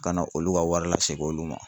Ka na olu ka wari lasegin olu ma.